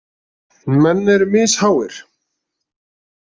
Menn eru misháir.